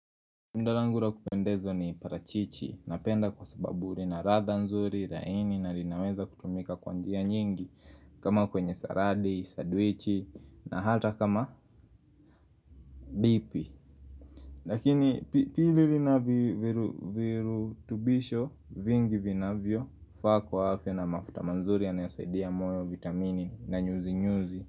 Tunda langu la kupendeza ni parachichi, napenda kwa sababu lina ladha nzuri, laini, na linaweza kutumika kwanjia nyingi, kama kwenye saladi, sandwich na hata kama dipi. Lakini pili lina virutubisho, vingi vinavyo, faa kwa afya na mafuta mazuri yanayosaidia moyo, vitamini, na nyuzi nyuzi.